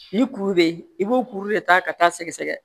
Ni kuru bɛ yen i b'o kuru de ta ka taa sɛgɛsɛgɛ